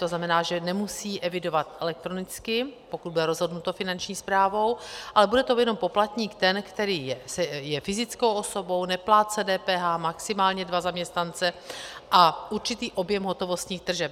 To znamená, že nemusí evidovat elektronicky, pokud bude rozhodnuto Finanční správou, ale bude to jenom poplatník ten, který je fyzickou osobou, neplátce DPH, maximálně dva zaměstnance a určitý objem hotovostních tržeb.